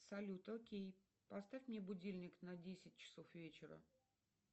салют окей поставь мне будильник на десять часов вечера